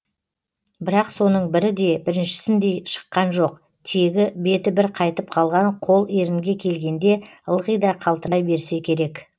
бірақ соның бірі де біріншісіндей шыққан жоқ тегі беті бір қайтып қалған қол ерінге келгенде ылғи да қалтырай берсе керек